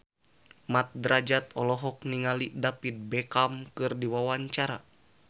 Mat Drajat olohok ningali David Beckham keur diwawancara